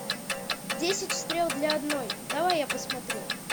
десять стрел для одной давай я посмотрю